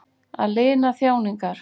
Að lina þjáningar.